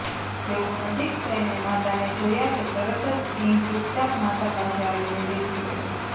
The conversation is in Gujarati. જેવુ નજીક થઈને માતાને જોયા કે તરત જ સિંહ ચૂપચાપ માતા પાસે આવીને બેસી ગયો